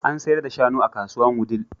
An sayar da shanu a kasuwar Wudil.